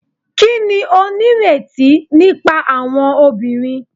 Kini o nireti nipa awọn obinrin